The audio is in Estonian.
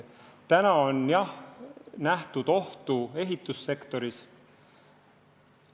Praegu on, jah, nähtud ohtu ehitussektoris.